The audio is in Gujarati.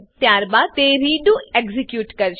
ત્યારબાદ તે રેડો રીડૂ એક્ઝીક્યુટ કરશે